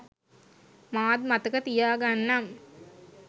මාත් මතක තියාගන්නම්